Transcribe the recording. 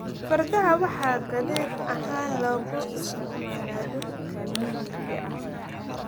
Fardaha waxaa gaadiid ahaan loogu isticmaalaa dhulka miyiga ah.